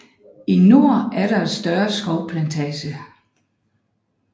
I nord er der et større skovplantage